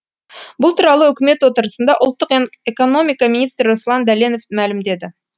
бұл туралы үкімет отырысында ұлттық экономика министрі руслан дәленов мәлімдеді